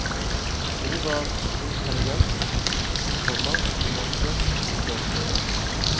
Mor var intellighet, komma hun også. punktum